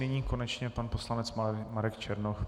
Nyní konečně pan poslanec Marek Černoch.